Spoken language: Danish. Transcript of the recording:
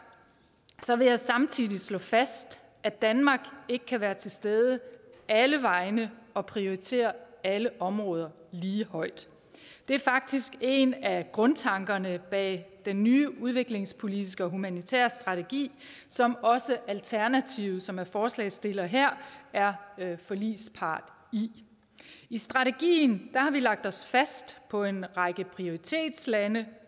vil jeg samtidig slå fast at danmark ikke kan være til stede alle vegne og prioritere alle områder lige højt det er faktisk en af grundtankerne bag den nye udviklingspolitiske og humanitære strategi som også alternativet som er forslagsstillere her er forligspart i i strategien har vi lagt os fast på en række prioritetslande